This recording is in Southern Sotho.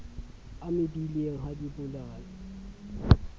a mebileng ha di bolawe